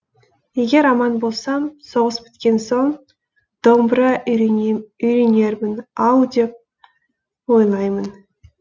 егер аман болсам соғыс біткен соң домбыра үйренермін ау деп ойлаймын